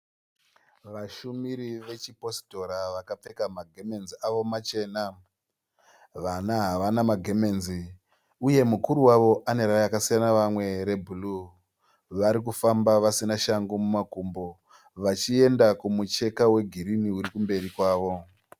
Vashumiri vechiPositora vakapfeka magemenzi awo machena. Vana havana magemenzi uye mukuru wavo ane rakasiyana nerevamwe rebhuruu. Varikufamba vasina shangu mumakumbo vachienda kumucheka wegirinhi urikumberi kwavo.